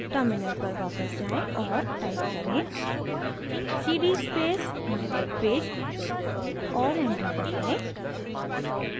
terminal पर वापस जाएँ और type करें: cd space mywebpage और enter दबाएँ